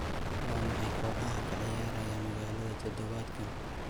waa maxay kooxaha ka ciyaaraya magaalada todobaadkan